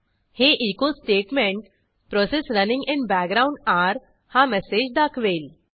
हे echo statement process running in background आरे हा मेसेज दाखवेल